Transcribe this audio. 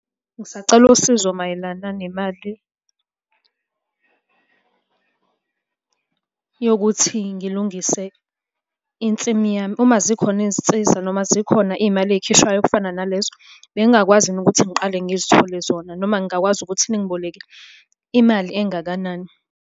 Ngisacela usizo mayelana nemali yokuthi ngilungise insimi yami. Uma zikhona izinsiza noma zikhona iy'mali ey'khishwayo okufana nalezo, bengingakwazi yini ukuthi ngiqale ngizithole zona noma ngingakwazi ukuthi ningiboleke imali engakanani?